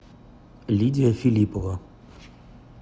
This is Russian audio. лидия филиппова